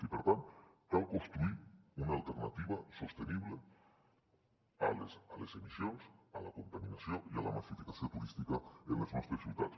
i per tant cal construir una alternativa sostenible a les emissions a la contaminació i a la massificació turística en les nostres ciutats